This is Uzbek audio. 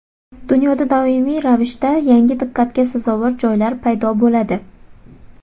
Dunyoda doimiy ravishda yangi diqqatga sazovor joylar paydo bo‘ladi.